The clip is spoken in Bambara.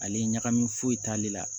Ale ɲagami foyi t'ale la